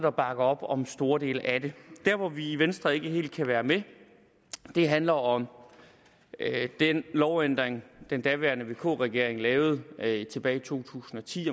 og bakker op om store dele af det der hvor vi i venstre ikke helt kan være med handler om den lovændring den daværende vk regering lavede tilbage i to tusind og ti